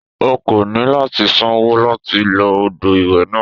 O kò ní láti sanwó láti lo odò ìwẹ̀ náà.